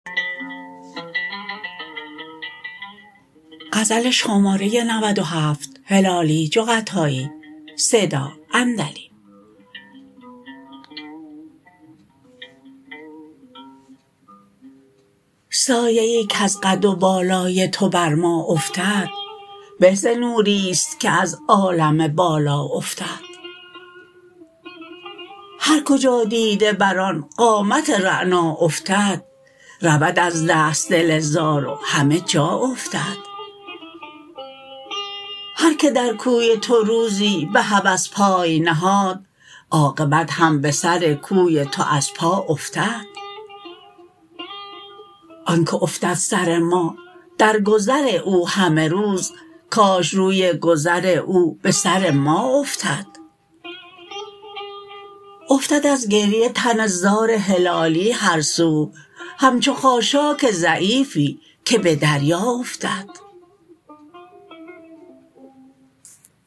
سایه ای کز قد و بالای تو بر ما افتد به ز نوریست که از عالم بالا افتد هر کجا دیده بر آن قامت رعنا افتد رود از دست دل زار و همه جا افتد هر که در کوی تو روزی بهوس پای نهاد عاقبت هم بسر کوی تو از پا افتد آنکه افتد سر ما در گذر او همه روز کاش روی گذر او بسر ما افتد افتد از گریه تن زار هلالی هر سو همچو خاشاک ضعیفی که بدریا افتد